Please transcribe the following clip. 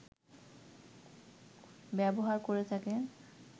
ব্যবহার করে থাকেন